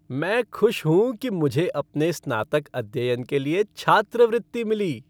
मैं खुश हूँ कि मुझे अपने स्नातक अध्ययन के लिए छात्रवृत्ति मिली।